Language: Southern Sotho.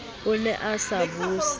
o ne a sa buse